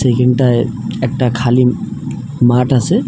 এখানটায় একটা খালি মাঠ আসে ।